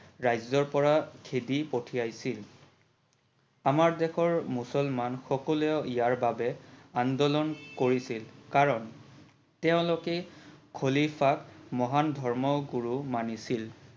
ৰাজ্যৰ পৰা খেদি পঠিয়াইছিল, আমাৰ দেশৰ মুছলমান সকলেও ইয়াৰ বাবে আন্দোলন কৰিছিল কাৰন তেওলোকে খলিফাক মহান ধৰ্ম গুৰু মানিছিল।